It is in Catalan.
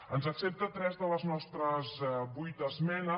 ens accepta tres de les nostres vuit esmenes